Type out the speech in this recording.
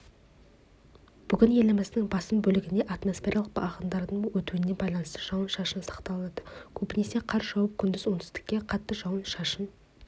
бүгінеліміздің басым бөлігінде атмосфералық ағындардың өтуіне байланысты жауын-шашын сақталады көбінесе қар жауып күндіз оңтүстікте қатты жауын-шашын